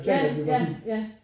Ja ja ja